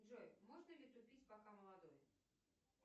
джой можно ли тупить пока молодой